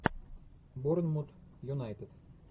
борнмут юнайтед